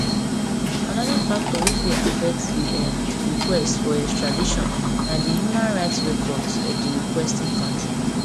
anoda factor wey fit affect di um request for extradition na di human rights records of di requesting kontri